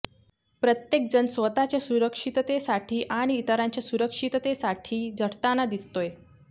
प्रत्येकजण स्वतःच्या सुरक्षिततेसाठी आणि इतरांच्या सुरक्षिततेसाठी झटताना दिसतोय